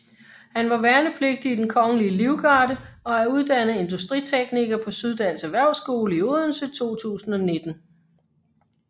Han var værnepligtig i Den Kongelige Livgarde og er uddannet industritekniker på Syddansk Erhvervsskole i Odense 2019